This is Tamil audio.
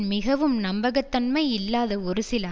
மிகவும் நம்பக தன்மை இல்லாத ஒரு சில